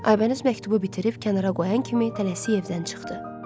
Aybəniz məktubu bitirib kənara qoyan kimi tələsik evdən çıxdı.